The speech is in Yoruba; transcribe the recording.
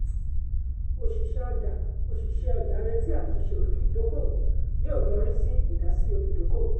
òṣìṣẹ́ ọjà òṣìṣẹ́ ọjà retí àtúnṣe òfin ìdókòwò yóò yọrí sí ìdásí olùdókòwò.